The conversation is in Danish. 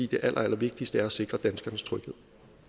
det allerallervigtigste er at sikre danskernes tryghed